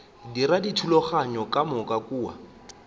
dira dithulaganyo ka moka kua